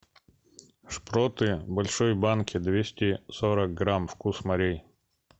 шпроты в большой банке двести сорок грамм вкус морей